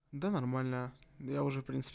да нормально я уже в принципе